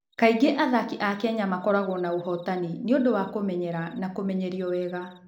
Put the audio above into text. Kaingĩ athaki a Kenya makoragwo na ũhootani nĩ ũndũ wa kũmenyerio na kũmenyerio wega.